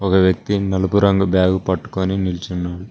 ఒక వ్యక్తి నలుపు రంగు బ్యాగు పట్టుకొని నిల్చున్నా--